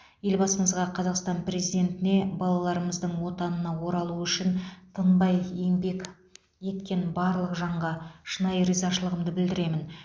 елбасымызға қазақстан президентіне балаларымыздың отанына оралуы үшін тыңбай еңбек еткен барлық жанға шынайы ризашылығымды білдіремін